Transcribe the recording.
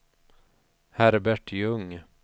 Herbert Ljung